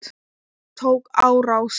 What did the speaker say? Tók á rás.